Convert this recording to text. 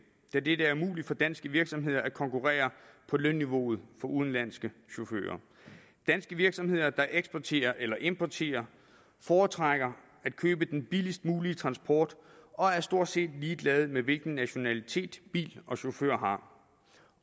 da det er umuligt for danske virksomheder at konkurrere på lønniveauet for udenlandske chauffører danske virksomheder der eksporterer eller importerer foretrækker at købe den billigst mulige transport og er stort set ligeglade med hvilken nationalitet bil og chauffør har